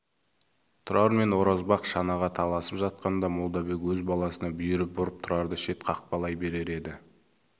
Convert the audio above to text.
тұрар мен оразбақ шанаға таласып жатқанда молдабек өз баласына бүйірі бұрып тұрарды шет қақпайлай берер еді